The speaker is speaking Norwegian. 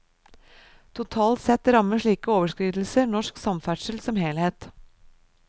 Totalt sett rammer slike overskridelser norsk samferdsel som helhet.